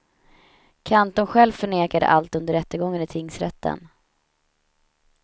Kantorn själv förnekade allt under rättegången i tingsrätten.